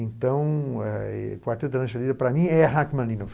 Então, eh Quarteto da Lancheria, para mim, é Rachmaninoff.